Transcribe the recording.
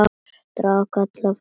Drakk allt frá sér.